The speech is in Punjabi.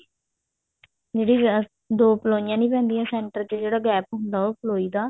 ਜਿਹ੍ਡੋ ਦੋ ਪ੍ਲੋਈਆਂ ਨੀ ਪੈਂਦੀਆਂ ਸੇੰਟਰ ਚ ਜਿਹੜਾ gap ਹੁੰਦਾ ਉਹ ਪ੍ਲੋਈ ਦਾ